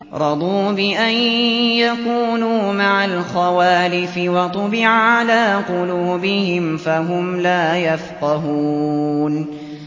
رَضُوا بِأَن يَكُونُوا مَعَ الْخَوَالِفِ وَطُبِعَ عَلَىٰ قُلُوبِهِمْ فَهُمْ لَا يَفْقَهُونَ